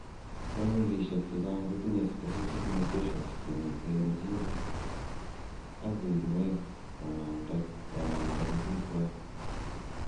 Familishek chechang kotinye specific mutations chemiten en genes ak uinwekap konamden pikwok.